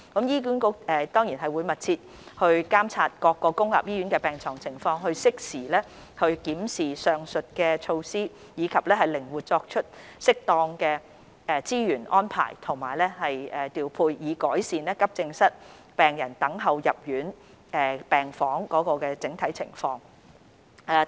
醫管局會繼續密切監察各公立醫院的病床情況，適時檢視上述措施，以及靈活作出適當的資源安排及調配，以改善急症室病人等候入住病房的整體情況。